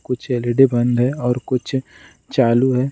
कुछ एल.ई.डी. बंद है और कुछ चालू है।